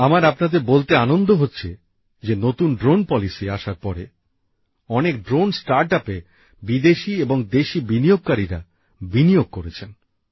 আমার আপনাদের বলতে আনন্দ হচ্ছে যে নতুন ড্রোননীতি আসার পরে অনেক ড্রোন স্টার্টআপে বিদেশি এবং দেশি বিনিয়োগকারীরা বিনিয়োগ করেছে